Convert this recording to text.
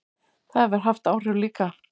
Það hefur haft áhrif líka.